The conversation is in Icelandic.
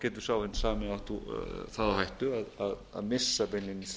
geti sá hinn sami átt það á hættu að missa beinlínis